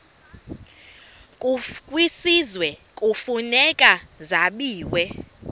kwisizwe kufuneka zabiwe